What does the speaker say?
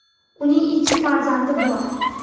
Uning ikki farzandi bor.